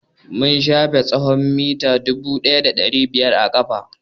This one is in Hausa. Mun shafe tsawon mita dubu ɗaya da ɗari biyar a ƙafa.